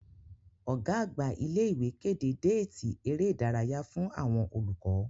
Ọ̀gá-àgbà ilé ìwé kéde déètì ère ìdárayá fún àwọn olùkọ́.